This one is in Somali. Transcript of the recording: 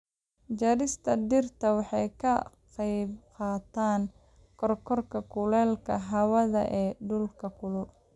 Jarista dhirta waxay ka qaybqaadataa kororka kuleylka hawada ee dhulalka kulul.